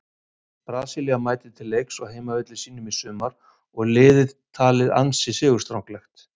Brasilía mætir til leiks á heimavelli sínum í sumar og er liðið talið ansi sigurstranglegt.